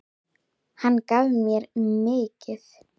Svo er það tíminn.